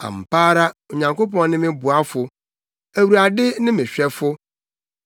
Ampa ara, Onyankopɔn ne me boafo; Awurade ne me hwɛfo.